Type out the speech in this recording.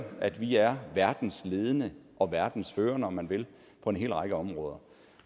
at vi er verdens ledende og verdens førende om man vil på en hel række områder